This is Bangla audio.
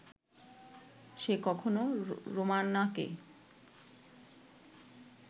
সে কখনো রোমানাকে